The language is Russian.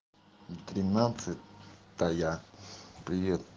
тринадцатая блин